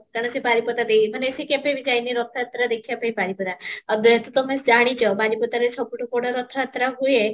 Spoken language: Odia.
କାରଣ ସେ ବାରିପଦା ସେଇ ମାନେ ସେ କେବେ ବି ଯାଇନି ରଥ ଯାତ୍ରା ଦେଖିବା ପାଇଁ ବାରିପଦା ଆଉ ଯେହେତୁ ତମେ ଜାଣିଚ ବାରିପଦାରେ ସବୁଠୁ ବଡ ରଥ ଯାତ୍ରା ହୁଏ